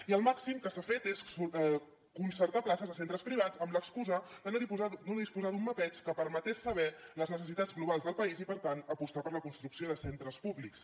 i el màxim que s’ha fet és concertar places a centres privats amb l’excusa de no disposar d’un mapeig que permeti saber les necessitats globals del país i per tant apostar per la construcció de centres públics